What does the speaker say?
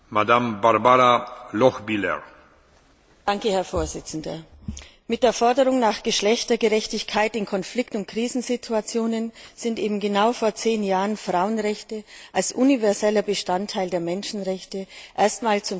Herr Präsident! Mit der Forderung nach Geschlechtergerechtigkeit in Konflikt und Krisensituationen sind eben genau vor zehn Jahren Frauenrechte als universaler Bestandteil der Menschenrechte erstmals zum Thema des UN Sicherheitsrats geworden.